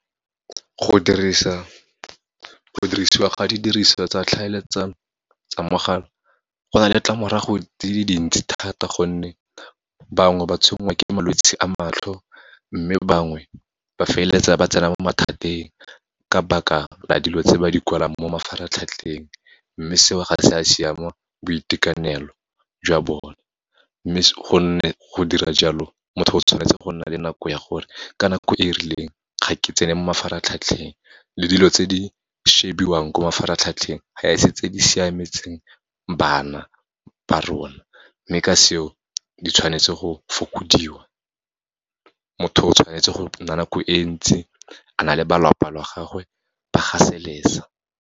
Go dirisiwa ga didirisiwa tsa tlhaeletsano tsa mogala, go na le ditlamorago di le dintsi thata gonne bangwe ba tshwenngwa ke malwetse a matlho. Mme bangwe ba feleletsa ba tsena mo mathateng, ka baka la dilo tse ba di kwalang mo mafaratlhatlheng, mme seo, ga se a siama boitekanelo jwa bone. Gonne go dira jalo, motho o tshwanetse go nna le nako ya gore, ka nako e rileng, ga ke tsena mo mafaratlhatlheng, le dilo tse di shebiwang ko mafaratlhatlheng, ga e se tse di siametseng bana ba rona. Mme ka seo, di tshwanetse go fokodiwa, motho o tshwanetse go nna nako e ntsi, a na le balapa la gagwe, ba gaseletsa.